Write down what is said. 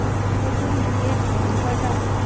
তখন দুরের ধান কাঁটা ।